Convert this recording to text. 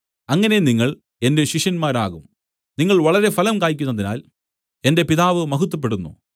അങ്ങനെ നിങ്ങൾ എന്റെ ശിഷ്യന്മാരാകും നിങ്ങൾ വളരെ ഫലം കായ്ക്കുന്നതിനാൽ എന്റെ പിതാവ് മഹത്വപ്പെടുന്നു